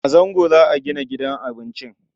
A Zango za a gina gidan abincin.